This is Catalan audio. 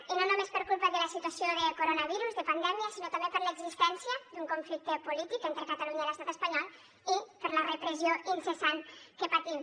i no només per culpa de la situació de coronavirus de pandèmia sinó també per l’existència d’un conflicte polític entre catalunya i l’estat espanyol i per la repressió incessant que patim